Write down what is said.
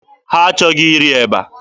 Ha achọghị iri eba.